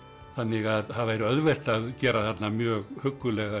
þannig að það væri auðvelt að gera þarna mjög huggulega